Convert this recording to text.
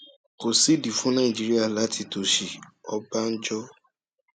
kò sídìí fún nàìjíríà láti tòṣì ọbànjọ